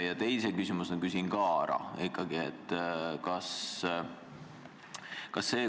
Ja teise küsimuse küsin ikkagi ka ära.